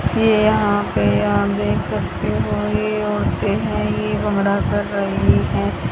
ये यहां पे आप देख सकते हो ये औरतें हैं ये भंगडा कर रही हैं।